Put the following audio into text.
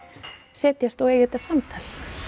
setjast og eiga þetta samtal